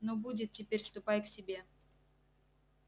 ну будет теперь ступай к себе